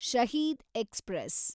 Shaheed express